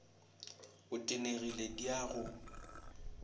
o tenegile di a go